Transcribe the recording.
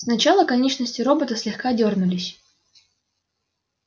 сначала конечности робота слегка дёрнулись